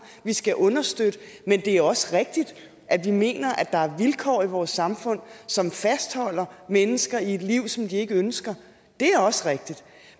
vi skal understøtte men det er også rigtigt at vi mener at der er vilkår i vores samfund som fastholder mennesker i et liv som de ikke ønsker det er også rigtigt